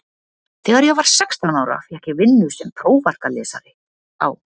Þegar ég var sextán ára fékk ég vinnu sem prófarkalesari á